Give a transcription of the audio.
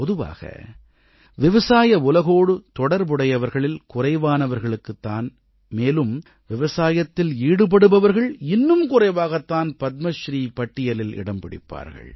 பொதுவாக விவசாய உலகோடு தொடர்புடையவர்களில் குறைவானவர்களுக்குத் தான் மேலும் விவசாயத்தில் ஈடுபடுபவர்கள் இன்னும் குறைவாகத் தான் பத்மஸ்ரீ பட்டியலில் இடம் பிடிப்பார்கள்